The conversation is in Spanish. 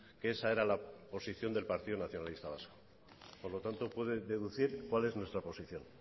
que esa era la posición del partido nacionalista vasco por lo tanto puede deducir cuál es nuestra posición